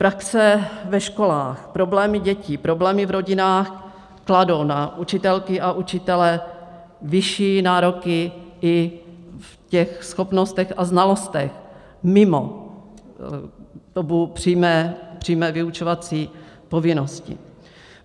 Praxe ve školách, problémy dětí, problémy v rodinách kladou na učitelky a učitele vyšší nároky i v těch schopnostech a znalostech mimo dobu přímé vyučovací povinnosti.